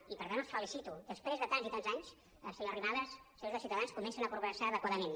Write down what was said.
i per tant els felicito després de tants i tants anys senyora arrimadas senyors de ciutadans comencen a progressar adequadament